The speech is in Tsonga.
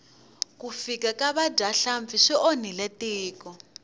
ku fika ka vadyahlampfi swi onhile tiko